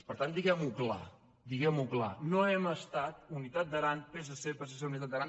per tant diguem·ho clar diguem·ho clar no hem estat unitat d’aran · psc psc · unitat d’aran